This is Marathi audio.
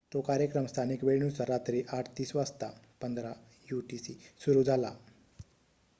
तो कार्यक्रम स्थानिक वेळेनुसार रात्री 8:30 वाजता 15.00 यूटीसी सुरु झाला